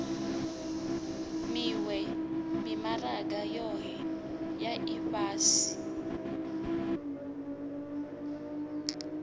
miwe mimaraga yohe ya ifhasi